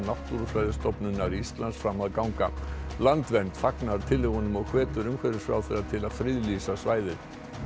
Náttúrufræðistofnunar Íslands fram að ganga landvernd fagnar tillögunum og hvetur umhverfisráðherra til að friðlýsa svæðið